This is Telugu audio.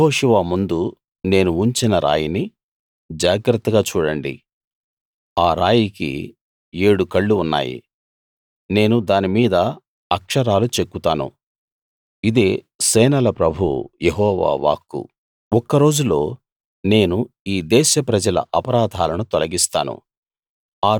యెహోషువ ముందు నేను ఉంచిన రాయిని జాగ్రత్తగా చూడండి ఆ రాయికి ఏడు కళ్ళు ఉన్నాయి నేను దాని మీద అక్షరాలు చెక్కుతాను ఇదే సేనల ప్రభువు యెహోవా వాక్కు ఒక్క రోజులో నేను ఈ దేశ ప్రజల అపరాధాలను తొలగిస్తాను